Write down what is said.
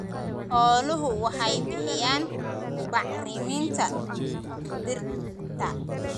Xooluhu waxay bixiyaan bacriminta dhirta.